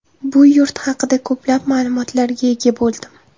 Bu yurt haqida ko‘plab ma’lumotlarga ega bo‘ldim.